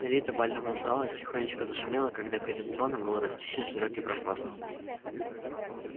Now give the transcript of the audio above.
элита бального зала тихонечко зашумела когда перед троном был расчищен широкий проход